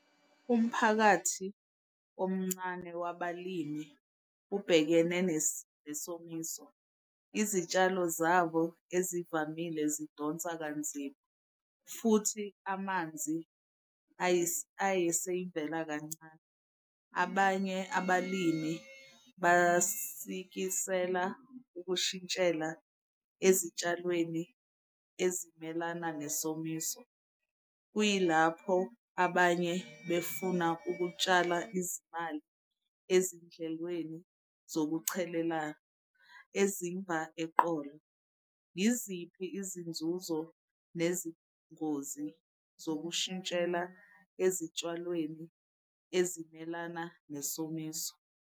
Umphakathi omncane wabalimi ubhekene nesomiso, izitshalo zabo ezivamile zidonsa kanzima futhi amanzi ayiseyivela kancane. Abanye abalimi basikisela ukushintshela ezitshalweni ezimelana nesomiso. Kuyilapho abanye befuna ukutshala izimali ezindlekweni zokuchelela ezimba eqolo. Yiziphi izinzuzo nezingozi zokushintshela ezitshalweni ezimelana nesomiso?